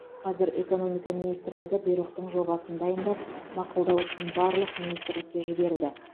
қазір экономика министрлігі бұйрықтың жобасын дайындап мақұлдау үшін барлық министрлікке жіберді